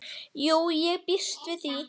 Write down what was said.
Jú, ég býst við því.